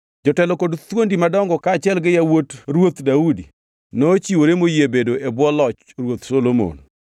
Jotelo kod thuondi madongo kaachiel gi yawuot Ruoth Daudi nochiwore moyie bedo e bwo loch Ruoth Solomon.